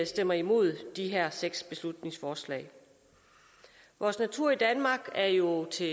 stemmer imod de her seks beslutningsforslag vores natur i danmark er jo til